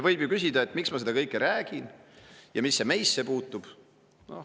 Võib ju küsida, miks ma seda kõike räägin ja mis see meisse puutub.